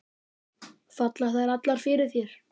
Falla þær allar fyrir þér?